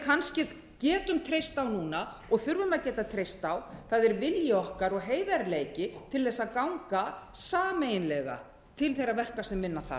kannski getum treyst á núna og þurfum að geta treyst á er vilji okkar og heiðarleiki til að ganga sameiginlega til þeirra verka sem vinna þarf